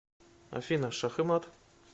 афина шах и мат